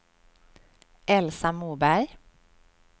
Elsa Moberg